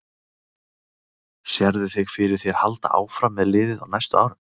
Sérðu þig fyrir þér halda áfram með liðið á næstu árum?